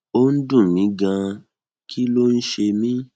ó ń dun mi ganan kí ló ń ṣe mí